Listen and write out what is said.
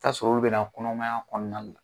tasɔrɔ olu bɛ na kɔnɔmaya kɔnɔna la